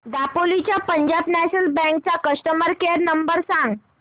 दापोली च्या Punjab National Bank चा customer care number सांग